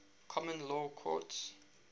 common law courts